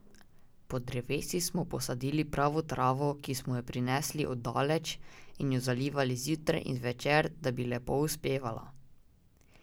Pod drevesi smo posadili pravo travo, ki smo jo prinesli od daleč, in jo zalivali zjutraj in zvečer, da bi lepo uspevala.